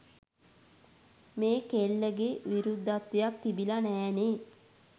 මේ කෙල්ලගේ විරුද්ධත්වයක් තිබිලා නෑනේ.